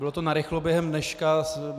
Bylo to narychlo během dneška.